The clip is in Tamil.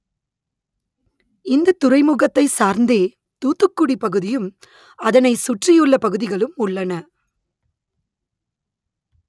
இந்த துறைமுகத்தை சார்ந்தே தூத்துக்குடி பகுதியும் அதனை சுற்றியுள்ள பகுதிகளும் உள்ளன